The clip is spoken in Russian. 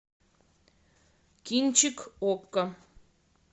кинчик окко